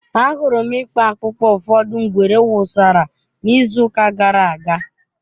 Ahụrụ m ikpo akpụkpọ ụfọdụ ngwere wụsara n'izuụka gara aga.